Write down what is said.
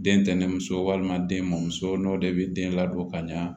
Den tɛnɛnso walima den mɔ muso n'o de bɛ den ladon ka ɲɛ